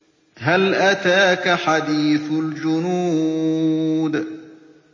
هَلْ أَتَاكَ حَدِيثُ الْجُنُودِ